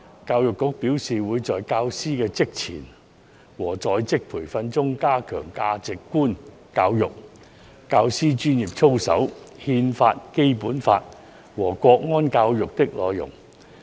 教育局表示，會在教師的職前和在職培訓中，加強價值觀教育、教師專業操守、《憲法》、《基本法》和國安教育的內容。